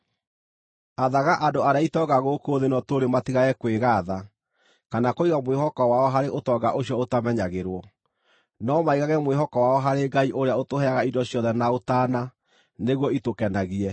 Athaga andũ arĩa itonga gũkũ thĩ ĩno tũrĩ matigage kwĩgaatha kana kũiga mwĩhoko wao harĩ thĩinĩ wa ũtonga ũcio ũtamenyagĩrwo, no maigage mwĩhoko wao harĩ Ngai ũrĩa ũtũheaga indo ciothe na ũtaana, nĩguo itũkenagie.